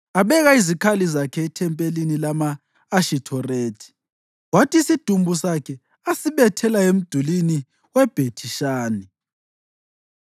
Abeka izikhali zakhe ethempelini lama-Ashithorethi. Kwathi isidumbu sakhe asibethela emdulini weBhethi-Shani.